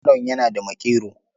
Yaron yana da maƙero.